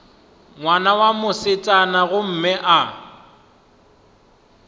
ngwana wa mosetsana gomme a